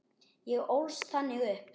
Ég ólst þannig upp.